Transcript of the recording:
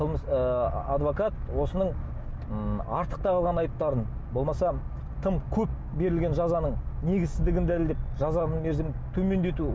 қылмыс ы адвокат осының м артық тағылған айыптарын болмаса тым көп берілген жазаның негізсіздігін дәлелдеп жазаның мерзімін төмендету